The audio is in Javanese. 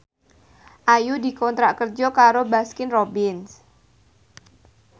Ayu dikontrak kerja karo Baskin Robbins